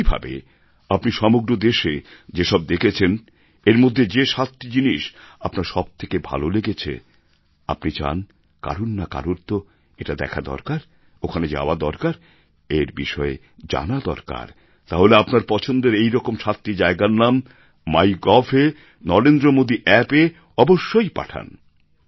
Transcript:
একই ভাবে আপনি সমগ্র দেশে যেসব দেখেছেন এর মধ্যে যে সাতটি জিনিষ আপনার সবথেকে ভালো লেগেছে আপনি চান কারোর না কারোর তো এটা দেখা দরকার ওখানে যাওয়া দরকার এর বিষয়ে জানা দরকার তাহলে আপনার পছন্দের এইরকম সাতটি জায়গার নাম মাইগভ এ নরেন্দ্রমোদীঅপ্প এ অবশ্যই পাঠান